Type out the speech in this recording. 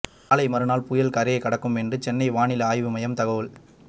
நாளை மறுநாள் புயல் கரையை கடக்கும் என்று சென்னை வானிலை ஆய்வு மையம் தகவல்